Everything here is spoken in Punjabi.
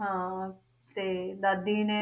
ਹਾਂ ਤੇ ਦਾਦੀ ਨੇ,